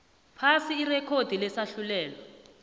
phasi irekhodi lesahlulelo